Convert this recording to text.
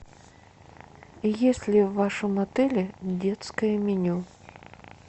есть ли в вашем отеле детское меню